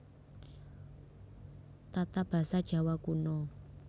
Tatabasa Djawa Kuno